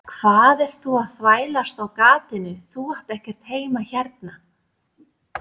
Hvað ert þú að þvælast á gatinu, þú átt ekkert heima hérna.